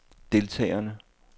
deltagerne